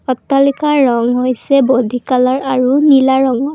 অট্টালিকাৰ ৰং হৈছে বডি কালাৰ আৰু নীলা ৰঙৰ।